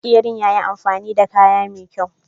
Makeran yayi amfani da kaya mai kyaw.